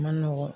Man nɔgɔn